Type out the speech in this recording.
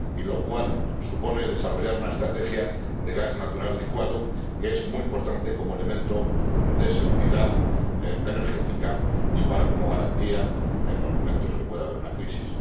y lo cual supone desarrollar una estrategia de gas natural licuado que es muy importante como elemento de seguridad energética y como garantía en los momentos en que pueda haber una crisis.